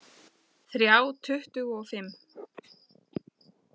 Þrjá tuttugu og fimm!